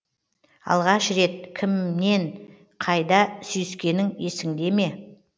алғаш рет кіммен қайда сүйіскенің есінде ме